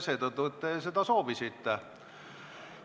Seetõttu, et te seda soovisite.